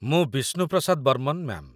ମୁଁ ବିଷ୍ଣୁ ପ୍ରସାଦ ବର୍ମନ, ମ୍ୟା'ମ୍ ।